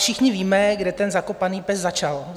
Všichni víme, kde ten zakopaný pes začal.